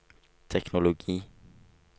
teknologi